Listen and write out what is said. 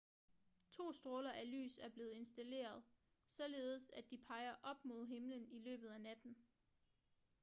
to stråler af lys er blevet installeret således at de peger op mod himlen i løbet af natten